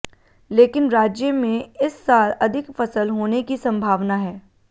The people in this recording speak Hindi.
लेकिन राज्य में इस साल अधिक फसल होने की संभावना है